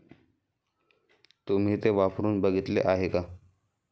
तुम्ही ते वापरून बघितले आहे का?